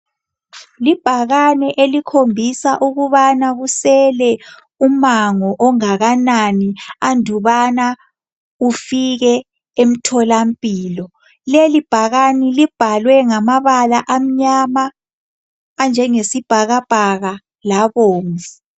Libhakane elikhombisa ukubana kusele umango ongakanani andubana ufike emtholampilo. Leli bhakane libhalwe ngamabala amnyama, anjengesibhakabhaka labomvu.